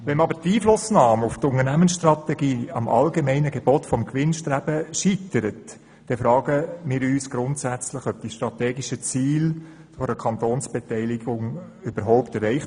Wenn jedoch die Einflussnahme auf die Unternehmensstrategie am allgemeinen Gebot des Gewinnstrebens scheitert, dann fragen wir uns grundsätzlich, ob die strategischen Ziele einer Kantonsbeteiligung überhaupt ist.